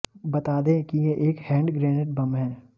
बता दें की ये एक हैंड ग्रेनेड बम है